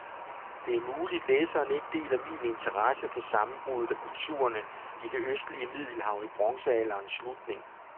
Det er muligt, læseren ikke deler min interesse for sammenbruddet af kulturerne i det østlige middelhav i bronzealderens slutning.